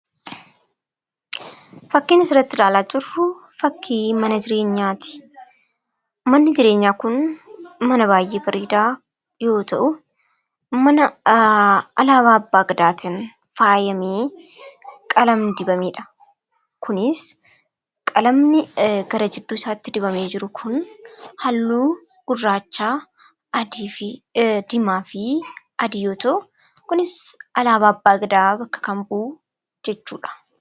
Fakkiin asirratti ilaalaa jirru fakkii mana jireenyaati. Manni jireenyaa kun man baay'ee bareedaa yoo ta'u, alaabaa Abbaa Gadaatiin faayamee halluu dibameedha. Kunis qalamni gara gidduu isaatti dibamee jiru kun halluu gurraacha, adii fi diimaa yoo ta'u, kunis alaabaa Abbaa Gadaa kan bakka bu'u jechuudha.